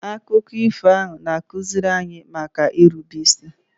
Akụkọ ifo ahụ ga-akụziri anyị maka irube isi